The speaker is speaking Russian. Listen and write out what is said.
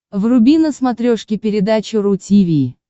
вруби на смотрешке передачу ру ти ви